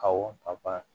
Kawo ka baara